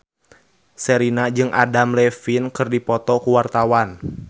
Sherina jeung Adam Levine keur dipoto ku wartawan